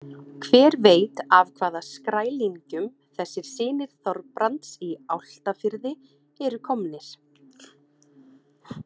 Hver veit af hvaða skrælingjum þessir synir Þorbrands í Álftafirði eru komnir?